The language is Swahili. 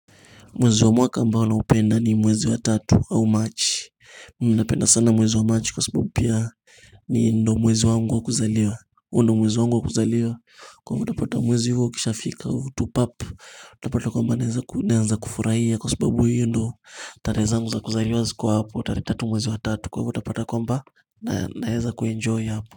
Mwezi wa mwaka ambao naupenda, ni mwezi wa tatu au Machi. Mimi napenda sana mwezi wa Machi kwa sababu pia, ndio mwezi wangu wa kuzaliwa. Huo ndio mwezi wangu wa kuzaliwa kwa hivyo, utapata mwezi huo ukishafika hivi tu pap! Utapata kwamba naanza kufurahia kwa sababu hiyo ndo tarehe zangu za kuzaliwa ziko hapo, tarehe tatu mwezi wa tatu, kwa hivyo utapata kwamba naeza kuenjoy hapo.